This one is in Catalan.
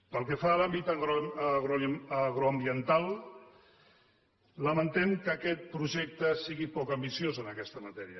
pel que fa a l’àmbit agroambiental lamentem que aquest projecte sigui poc ambiciós en aquesta matèria